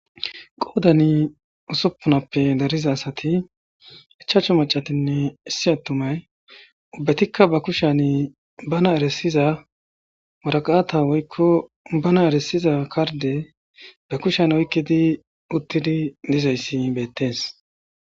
qoodani usuppunappe dariza asati ichamashu macatinne issi attumay ubbatikka ba kushani bana eresiza waraqata woykko bana eresiza karde ba kushan oykkidi uttidi dizayssi beettees